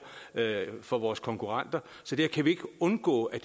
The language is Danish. for vores konkurrenter så der kan vi ikke undgå at